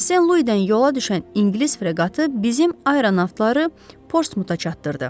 Sen Luydan yola düşən ingilis freqatı bizim ayronavtları Portsmuta çatdırdı.